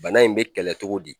Bana in be kɛlɛ togo di